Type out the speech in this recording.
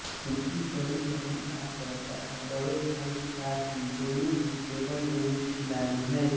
इनकी बड़ी बहन आँचल तथा बड़े भाई साहिल दोनों ही टेबल टेनिस खिलाड़ी हैं